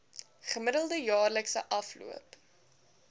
gemiddelde jaarlikse afloop